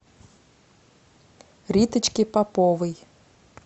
риточке поповой